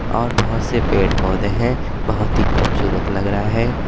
और बोहोत से पेड़ पौधे हैं बोहोत ही खूबसूरत लग रहा है।